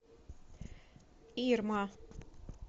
ирма